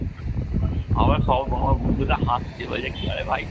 আমার সব আমার বন্ধু আমার বন্ধুটা হাসছে বলছে কী হবে হবে ভাই?